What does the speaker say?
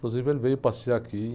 Inclusive, ele veio passear aqui.